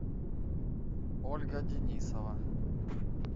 ольга денисова